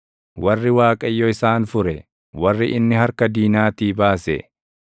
Warri Waaqayyo isaan fure, warri inni harka diinaatii baase,